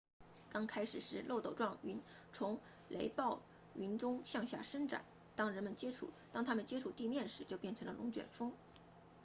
刚开始时漏斗状云从雷暴云中向下伸展当它们接触地面时就变成了龙卷风